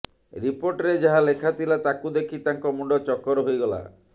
ରିପୋର୍ଟରେ ଯାହା ଲେଖାଥିଲା ତାକୁ ଦେଖି ତାଙ୍କ ମୁଣ୍ଡ ଚକ୍କର ହୋଇଗଲା